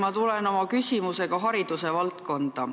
Ma tulen oma küsimusega hariduse valdkonda.